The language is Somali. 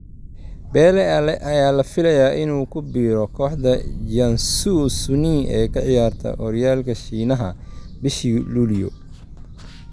Bale ayaa la filayay inuu ku biiro kooxda Jiangsu Suning ee ka ciyaarta horyaalka Shiinaha bishii luliyo.